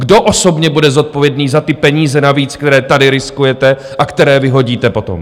Kdo osobně bude zodpovědný za ty peníze navíc, které tady riskujete a které vyhodíte potom?